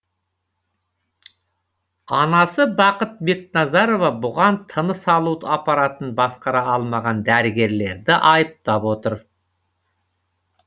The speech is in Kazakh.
анасы бақыт бекназарова бұған тыныс алу аппаратын басқара алмаған дәрігерлерді айыптап отыр